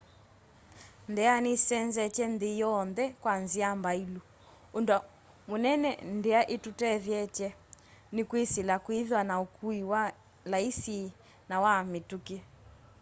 ndia nisenzetye nthi yonthe kwa nzia mbailu. undu munene ndia itutethetye ni kwisila kwithwa na ukui wi laisi na wa mitukí